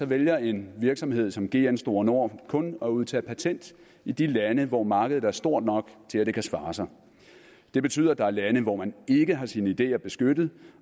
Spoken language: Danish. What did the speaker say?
vælger en virksomhed som gn store nord kun at udtage patent i de lande hvor markedet er stort nok til at det kan svare sig det betyder at der er lande hvor man ikke har sine ideer beskyttet